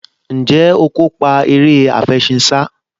Ǹjẹ́ o kópa eré àfẹṣinsá?